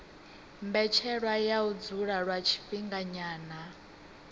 mbetshelwa ya u dzula lwa tshifhinganyana